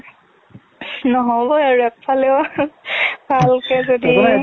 নহবৱে আৰু একফালেও ভালকে যদি